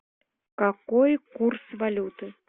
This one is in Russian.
какой курс валюты